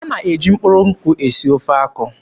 A na-eji mkpụrụ nkwụ esi ofe akwụ.